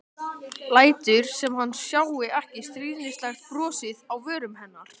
Lætur sem hann sjái ekki stríðnislegt brosið á vörum hennar.